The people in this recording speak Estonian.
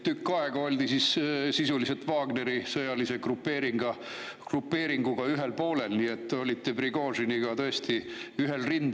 Tükk aega oldi sisuliselt Wagneri sõjalise grupeeringuga ühel poolel, nii et te olite Prigožiniga tõesti ühel rindel.